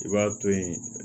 I b'a to yen